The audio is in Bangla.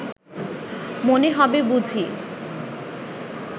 মনে হবে বুঝি